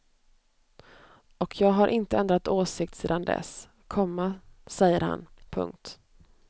Och jag har inte ändrat åsikt sedan dess, komma säger han. punkt